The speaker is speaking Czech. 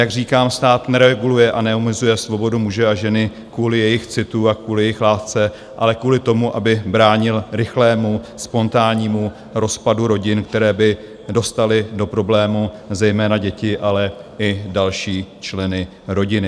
Jak říkám, stát nereguluje a neomezuje svobodu muže a ženy kvůli jejich citu a kvůli jejich lásce, ale kvůli tomu, aby bránil rychlému spontánnímu rozpadu rodin, které by dostaly do problémů zejména děti, ale i další členy rodiny.